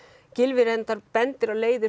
Gylfi bendir á leiðir